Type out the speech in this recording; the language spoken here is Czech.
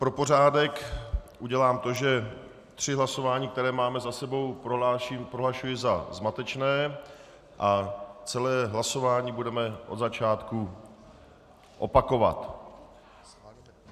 Pro pořádek udělám to, že tři hlasování, která máme za sebou, prohlašuji za zmatečné a celé hlasování budeme od začátku opakovat.